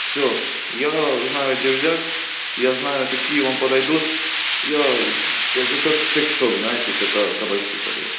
всё я знаю где взять я знаю какие вам подойдут я это как сексшоп знаете только кабачки продаёт